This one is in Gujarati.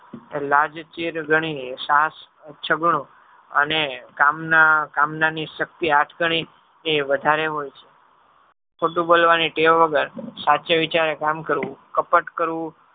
લાજ ચીર ધણી અને કામના કામનાની શક્તિ આઠગની એ વધારે હોય છે. ખોટું બોલવાની ટેવ વગર સાચે વિચારે કામ કરવું. કપટ કરવું